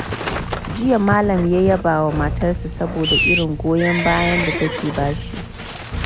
Jiya, Malam ya yaba wa matarsa saboda irin goyon bayan da take ba shi.